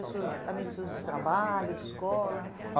pessoas amigos seus de trabalho, de escola? A